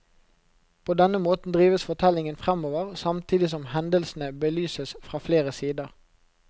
På denne måten drives fortellingen framover, samtidig som hendelsene belyses fra flere sider.